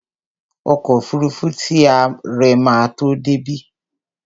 Ọkọ́ òfurufú ti àre ma tó débí.